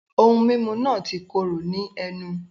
Ohun mímu náà ti kóró ní ẹnu